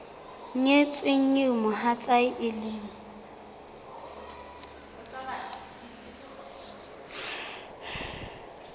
nyetsweng eo mohatsae e leng